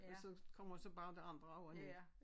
Og så kommer jeg så bare de andre over på